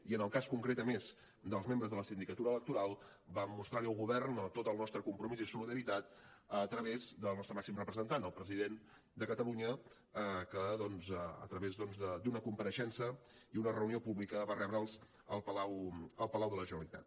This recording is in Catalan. i en el cas concret a més dels membres de la sindicatura electoral vam mostrar hi el govern tot el nostre compromís i solidaritat a través del nostre màxim representant el president de catalunya que doncs a través d’una compareixença i una reunió pública va rebre’ls al palau de la generalitat